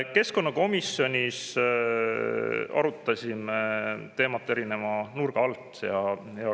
Keskkonnakomisjonis arutasime teemat erinevate nurkade alt.